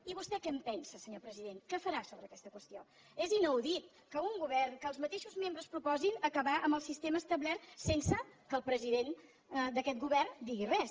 i vostè què en pensa senyor president què farà sobre aquesta qüestió és inaudit que un govern que els mateixos membres proposin acabar amb el sistema establert sense que el president d’aquest govern digui res